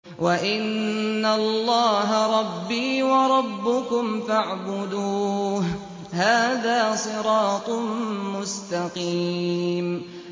وَإِنَّ اللَّهَ رَبِّي وَرَبُّكُمْ فَاعْبُدُوهُ ۚ هَٰذَا صِرَاطٌ مُّسْتَقِيمٌ